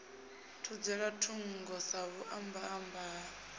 thudzela thungo sa vhuambamba ha